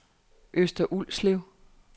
Øster Ulslev